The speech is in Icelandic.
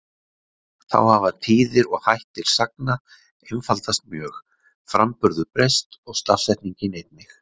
Þá hafa tíðir og hættir sagna einfaldast mjög, framburður breyst og stafsetning einnig.